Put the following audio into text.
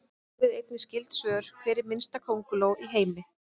Skoðið einnig skyld svör: Hver er minnsta könguló í heimi?